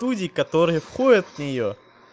люди которые ходят в неё